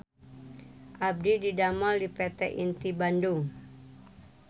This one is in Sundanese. Abdi didamel di PT Inti Bandung